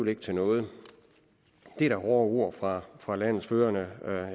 ikke til noget det er da hårde ord fra fra landets førende